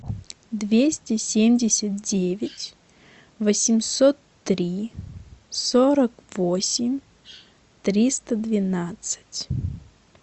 двести семьдесят девять восемьсот три сорок восемь триста двенадцать